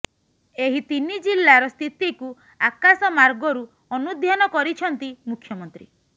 ଏହି ତିନି ଜିଲ୍ଲାର ସ୍ଥିତିକୁ ଆକାଶ ମାର୍ଗରୁ ଅନୁଧ୍ୟାନ କରିଛନ୍ତି ମୁଖ୍ୟମନ୍ତ୍ରୀ